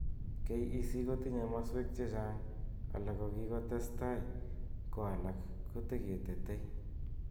KEC kotinye maswek checha'ng ,alak ko kikotestai ko alak teketetei.